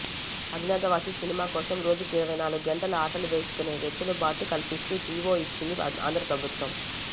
Agnyaathavaasi cinema కోసం రోజుకు ఇరవై నాలుగు గంటలు ఆటలు వేసుకునే వెసులుబాటు కల్పిస్తూ జీవో ఇచ్చింది ఆంధ్ర ప్రభుత్వం